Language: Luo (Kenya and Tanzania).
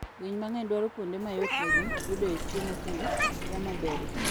Winy mang'eny dwaro kuonde ma yotnegi yudoe chiemo kendo yamo berie.